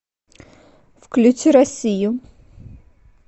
включи россию